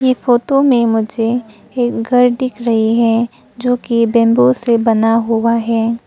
ये फोटो में मुझे एक घर दिख रही है जो कि बैंबू से बना हुआ है।